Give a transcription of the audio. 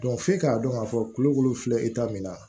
f'e k'a dɔn k'a fɔ tulo kolo filɛ e ta mina